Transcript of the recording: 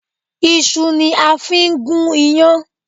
Iṣu ni a fi ń gún iyán